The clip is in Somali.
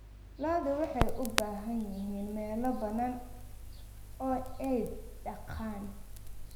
Lo'du waxay u baahan yihiin meelo bannaan oo ay daaqaan.